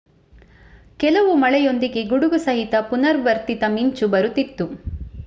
ಕೆಲವು ಮಳೆಯೊಂದಿಗೆ ಗುಡುಗು ಸಹಿತ ಪುನರ್ವರ್ತಿತ ಮಿಂಚು ಬರುತ್ತಿತ್ತು